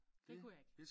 Det kunne jeg ikke